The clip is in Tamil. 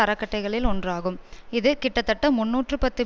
அறக்கட்டைகளில் ஒன்றாகும் இது கிட்டத்தட்ட முன்னூற்று பத்து